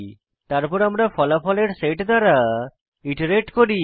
তারপর আমরা ফলাফলের সেট দ্বারা ইটারেট করি